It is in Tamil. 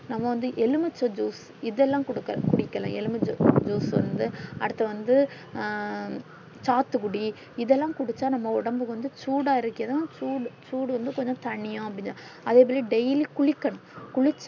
நம்ம வந்து எலுமிச்சை juice இதெல்லாம் குடுக்க குடிக்கலாம் எலுமிச்ச juice வந்து அடுத்து வந்து அ சாத்துக்குடி இதெல்லாம் குடிச்சா நம்ம ஒடம்பு வந்து சூடாரிக்குது சூடு சூடு வந்து கொஞ்ச தணியும் அப்டின்னு சொல்றாங்க அதேமாரி daily குளிக்கணும்